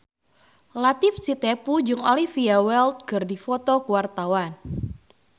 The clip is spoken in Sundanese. Latief Sitepu jeung Olivia Wilde keur dipoto ku wartawan